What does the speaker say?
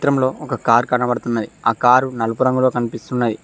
ఒక కార్ కనబడుతున్నది ఆ కారు నలుపు రంగులో కనిపిస్తున్నాయి.